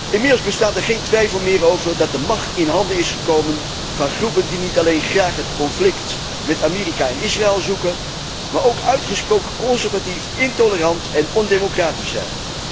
Inmiddels bestaat er geen twijfel meer over dat de macht in handen is gekomen van groepen die niet alleen graag het conflict met Amerika en Israël zoeken, maar ook uitgesproken conservatief, intolerant en ondemocratisch zijn.